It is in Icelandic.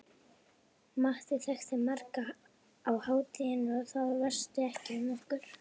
Matti þekkti marga á hátíðinni og það væsti ekki um okkur.